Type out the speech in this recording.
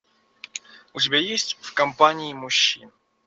у тебя есть в компании мужчин